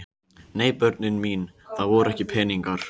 Nei börnin mín, það voru ekki peningar.